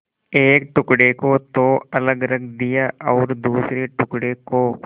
एक टुकड़े को तो अलग रख दिया और दूसरे टुकड़े को